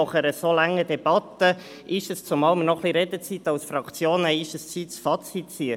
Nach einer so langen Debatte ist es Zeit, ein Fazit zu ziehen, zumal wir als Fraktion noch etwas Redezeit zur Verfügung haben.